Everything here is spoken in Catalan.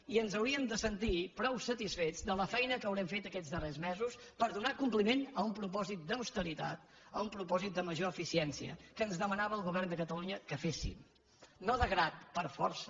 i ens hauríem de sentir prou satisfets de la feina que haurem fet aquests darrers mesos per donar compliment a un propòsit d’austeritat a un propòsit de major eficiència que ens demanava el govern de catalunya que féssim no de grat per força